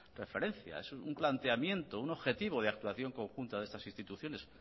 referencia es un planteamiento un objetivo de actuación conjunta de estas instituciones